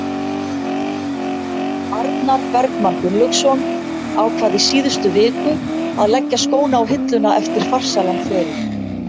Arnar Bergmann Gunnlaugsson ákvað í síðustu viku að leggja skóna á hilluna eftir farsælan feril.